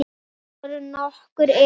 Þetta voru nokkur erindi.